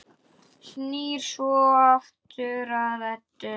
Snýr svo aftur að Eddu.